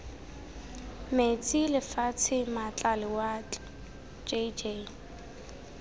metsi lefatshe maatla lewatle jj